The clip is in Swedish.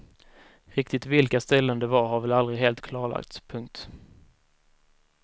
Riktigt vilka ställen det var har väl aldrig helt klarlagts. punkt